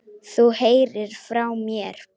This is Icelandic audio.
Þú heyrir frá mér.